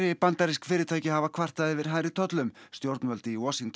bandarísk fyrirtæki hafa kvartað yfir hærri tollum stjórnvöld í Washington